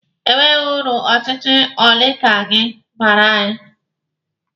E nweghi uru ọchịchị oligaki baara anyị.